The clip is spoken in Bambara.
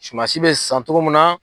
Suman si bɛ san cogo min na